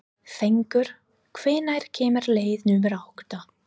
Fengur, hvenær kemur leið númer átta?